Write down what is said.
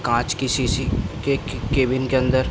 कांच की शीशी के केबिन के अंदर --